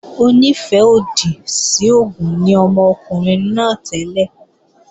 Onífẹ́-òdì sí oògùn ni ọmọkùnrin náà tẹ́lẹ̀